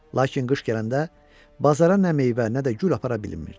Lakin qış gələndə bazara nə meyvə, nə də gül apara bilmirdi.